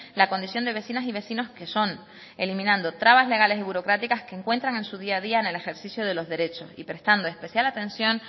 la condición de vecinas y vecinos que son eliminando trabas legales y burocráticas que encuentran en su día a día en el ejercicio de los derechos y prestando especial atención